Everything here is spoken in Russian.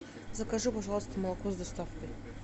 закажи пожалуйста молоко с доставкой